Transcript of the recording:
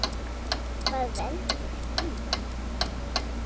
Hvað veldur því?